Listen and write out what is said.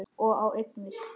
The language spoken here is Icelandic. Og á eignir.